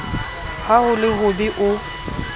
ha ho le hobe o